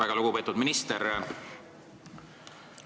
Väga lugupeetud minister!